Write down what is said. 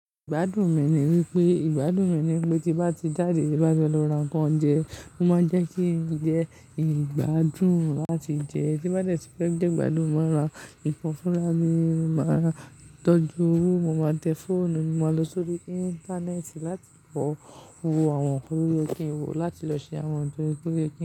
Ìgbádùn mi ni wípé, ìgbádùn mi ni wípé tí bá ti jáde ti bá fe lóran kan jẹ, mo máa jẹ́ kí jẹ ìgbádùn láti jẹ. Tí bá ti fẹ́ jẹ ìgbádùn, mo máa lọ ipò fúnra mi, mo máa tọ́jú, mo máa tẹ fóònù, mo máa lọ sórí íńtánẹ́ẹ̀tì láti wo àwọn nkan to ye kinwo, láti lọ ṣe àwọn nkan to ye.